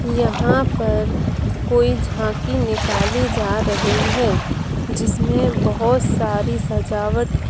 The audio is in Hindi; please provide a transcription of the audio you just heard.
यहाँ पर कोई झांकी निकाली जा रही है जिसमे बहुत सारी सजावट की --